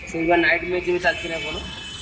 ସେଇବା night match ଏବେ ଚାଲିଚି ନା କଣ?